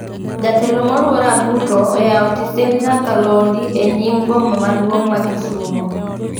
Jatelo moluor Abuto oyao tisend nyakalondi e nyim boma maduong` ma kisumo